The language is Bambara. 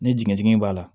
Ni dingɛn dingɛ in b'a la